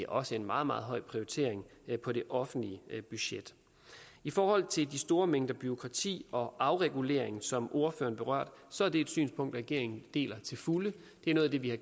også en meget meget høj prioritering på det offentlige budget i forhold til de store mængder bureaukrati og afreguleringen som ordføreren berørte så er det et synspunkt regeringen deler til fulde det er noget af det vi har